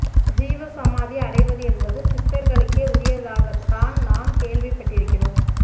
ஜீவ சமாதி அடைவது என்பது சித்தர்களுக்கே உரியதாகத் தான் நாம் கேள்விப் பட்டிருக்கிறோம்